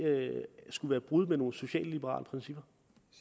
skulle være et brud med nogen socialliberale principper